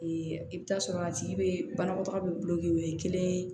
i bɛ taa sɔrɔ a tigi bɛ banakɔtaga bɛ bulonkɛ o ye kelen ye